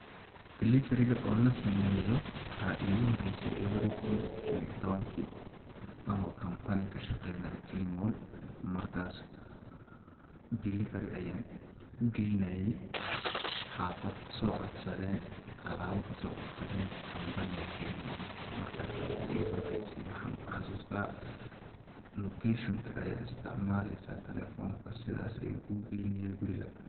Delivery ga oo lasameyo waxaa igu horeyse lawada kun shan iyo tawankii anoo company ka shaqeynayo kilimall markaas Delivery ayaan u geynaaye xafad soo codsadeeen alaabo kasocodsaden company ga kilimall markaas ayaa iigu horeyse waxaa nah kuxasuusta location ka ayaa isticmaleesa telefonka sidaas ayuu kugeynaya guriga